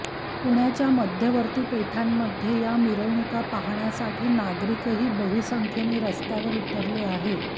पुण्याच्या मध्यवर्ती पेठांमध्ये या मिरवणूका पाहण्यासाठी नागरिकही बहुसंख्येने रस्त्यावर उतरले आहेत